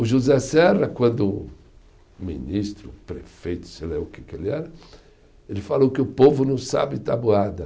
O José Serra, quando ministro, prefeito, sei lá o que que ele era, ele falou que o povo não sabe tabuada.